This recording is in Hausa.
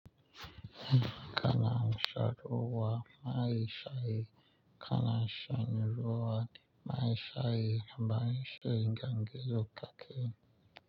Kana in sharuwa mai shaye, kana in sharuwa mai shaye, amma in shiga gizo ka ke.